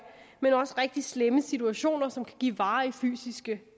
men også rigtig slemme situationer som kan give varige fysiske